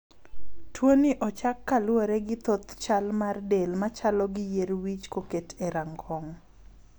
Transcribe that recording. Tuoni ochak ka luwore gi thoth chal mar del machalo gi yier wich koketi e rangong'.